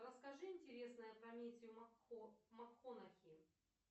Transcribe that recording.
расскажи интересное про метью макконахи